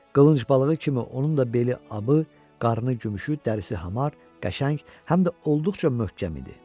Qılınc balığı kimi onun da beli abı, qarnı gümüşü, dərisi hamar, qəşəng, həm də olduqca möhkəm idi.